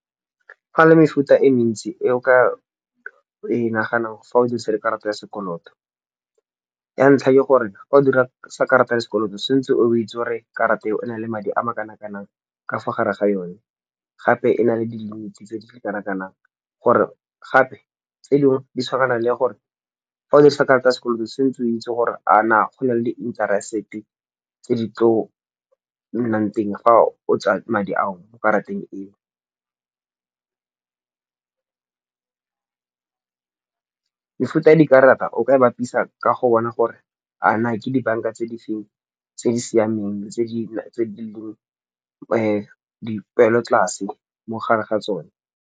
Ga le mefuta e mentsi e o ka e naganang fa o dirisa le karata ya sekoloto. Ya ntlha ke gore ga o dirisa karata ya sekoloto sentse o itse gore karata eo e na le madi a makanang kanang ka fa gare ga yone. Gape e na le di linki tse di kanang-kanang. Gore gape tse dingwe di tshwana le gore fa o dirisa karata ya sekoloto se ntse o itse gore a na go na le interest-e tse di tlo nnang teng fa o tsa madi ao mo karateng eo. Mefuta ya dikarata o ka bapisa ka go bona gore a na ke dibanka tse di feng tse di siameng tse di leng di peelotlase mo gare ga tsone.